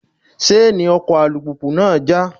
Ṣáánì ọkọ̀ alùpùpù náà já.